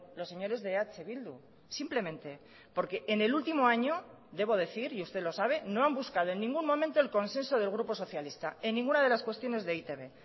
los señores de eh bildu simplemente porque en el último año debo decir y usted lo sabe no han buscado en ningún momento el consenso del grupo socialista en ninguna de las cuestiones de e i te be